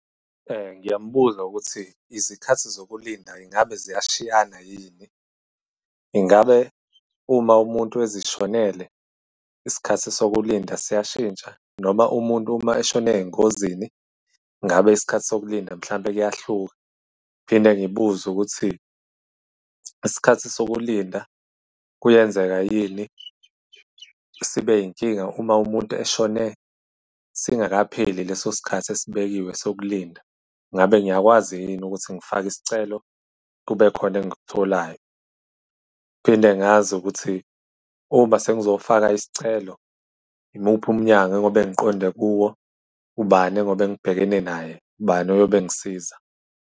Ngiyambuza ukuthi izikhathi zokulinda ingabe ziyashiyana yini? Ingabe uma umuntu ezishonele isikhathi sokulinda siyashintsha, noma umuntu uma eshona ey'ngozini ingabe isikhathi sokulinda mhlawumbe kuyahluka? Ngiphinde ngibuze ukuthi isikhathi sokulinda kuyenzeka yini sibe inkinga uma umuntu eshone singakapheli leso sikhathi esibekiwe sokulinda? Ngabe ngiyakwazi yini ukuthi ngifake isicelo kube khona engikutholayo? Ngiphinde ngazi ukuthi uma sengizofaka isicelo, imuphi umnyango engiy'obe ngiqonde kuwo? Ubani engiy'obe ngibhekene naye, ubani oyobe engisiza?